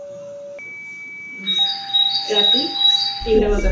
ৰাতি তিনটা বজাত